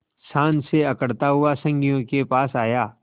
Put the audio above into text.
शान से अकड़ता हुआ संगियों के पास आया